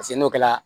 Paseke n'o kɛra